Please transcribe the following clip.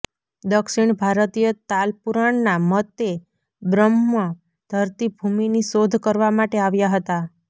દક્ષિણ ભારતીય તાલપુરાણના મતે બ્રહૃા ધરતી ભૂમિની શોધ કરવા માટે આવ્યા હતા